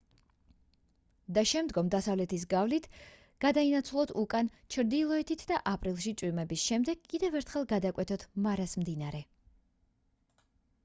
და შემდგომ დასავლეთის გავლით გადავინაცვლოთ უკან ჩრდილოეთით და აპრილში წვიმების შემდეგ კიდევ ერთხელ გადავკვეთოთ მარას მდინარე